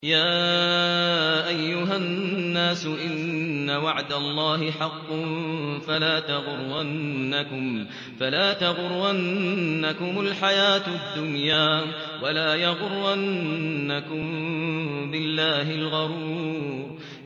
يَا أَيُّهَا النَّاسُ إِنَّ وَعْدَ اللَّهِ حَقٌّ ۖ فَلَا تَغُرَّنَّكُمُ الْحَيَاةُ الدُّنْيَا ۖ وَلَا يَغُرَّنَّكُم بِاللَّهِ الْغَرُورُ